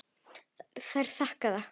Þær þakka það.